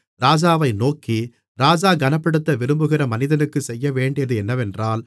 ராஜாவை நோக்கி ராஜா கனப்படுத்த விரும்புகிற மனிதனுக்கு செய்யவேண்டியது என்னவென்றால்